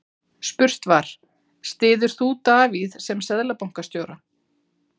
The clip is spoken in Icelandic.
Spurt var, styður þú Davíð sem Seðlabankastjóra?